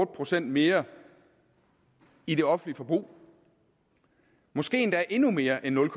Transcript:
procent mere i det offentlige forbrug måske endda endnu mere end nul